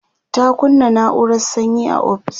ta kunna naurar sanyi a ofis